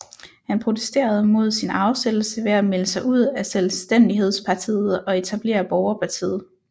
Han protesterede mod sin afsættelse ved at melde sig ud af Selvstændighedspartiet og etablere Borgerpartiet